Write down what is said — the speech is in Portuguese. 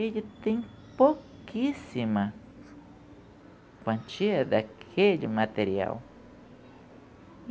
ele tem pouquíssima quantia daquele material.